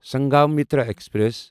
Sanghamitra express